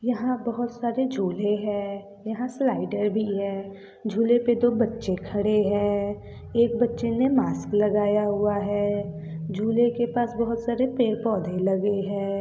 यहाँ बहोत सारे झूले है। यहाँ से स्लाइडर भी है। झूले पे दो बच्चे खड़े है। एक बच्चे ने मास्क लगाया हुआ है। झूले के पास बहोत सारे पेड़ पौधे लगे है।